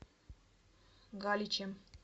галичем